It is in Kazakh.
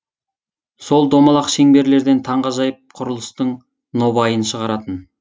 сол домалақ шеңберлерден таңағажайып құрлыстың нобайын шығаратын